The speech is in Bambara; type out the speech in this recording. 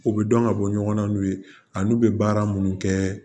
U bɛ dɔn ka bɔ ɲɔgɔn na n'u ye a n'u bɛ baara minnu kɛ